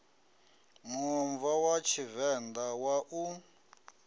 muomva wa tshivenḓa wa u